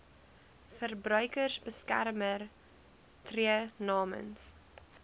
verbruikersbeskermer tree namens